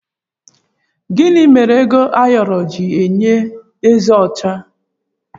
Gịnị mere ego ayoro ji yie eze ọcha?